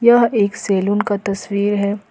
यह एक सैलून का तस्वीर है ।